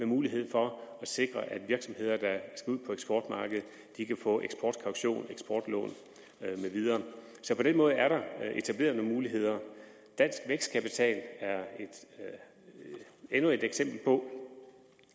mulighed for at sikre at virksomheder der skal ud på eksportmarkedet kan få eksportkaution eksportlån med videre så på den måde er der etableret nogle muligheder dansk vækstkapital er endnu et eksempel på